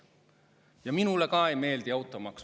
Ja minule ka ei meeldi automaks.